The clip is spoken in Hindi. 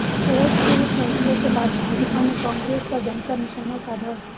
कोर्ट के इस फैसले के बाद भाजपा ने कांग्रेस पर जमकर निशाना साधा